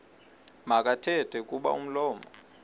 makathethe kuba umlomo